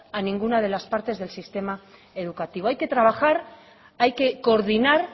a ninguna de las partes del sistema educativo hay que trabajar hay que coordinar